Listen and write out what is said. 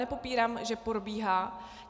Nepopírám, že probíhá.